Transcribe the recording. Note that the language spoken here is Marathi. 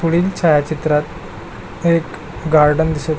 पुढील छायाचित्रात एक गार्डन दिसत --